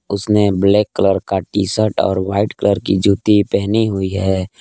उसने black colour का T-shirt और वाइट कलर की जूती पहनी हुई है।